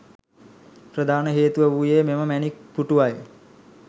ප්‍රධාන හේතුව වූයේ මෙම මැණික් පුටුව යි.